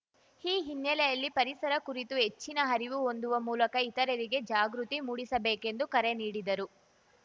ಈ ಹಿನ್ನೆಲೆಯಲ್ಲಿ ಪರಿಸರ ಕುರಿತು ಹೆಚ್ಚಿನ ಅರಿವು ಹೊಂದುವ ಮೂಲಕ ಇತರರಿಗೆ ಜಾಗೃತಿ ಮೂಡಿಸಬೇಕೆಂದು ಕರೆ ನೀಡಿದರು